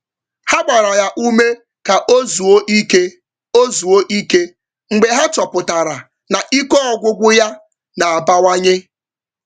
Ha gbara ya ume ka ọ zuo ike ọ zuo ike mgbe ha chọpụtara na ike Ọgwụgwụ ya na-abawanye.